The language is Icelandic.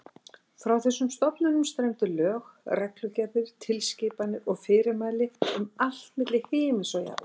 Frá þessum stofnunum streymdu lög, reglugerðir, tilskipanir og fyrirmæli um allt milli himins og jarðar.